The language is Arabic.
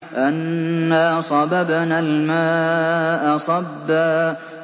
أَنَّا صَبَبْنَا الْمَاءَ صَبًّا